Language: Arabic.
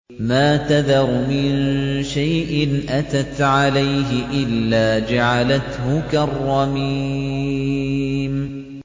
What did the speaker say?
مَا تَذَرُ مِن شَيْءٍ أَتَتْ عَلَيْهِ إِلَّا جَعَلَتْهُ كَالرَّمِيمِ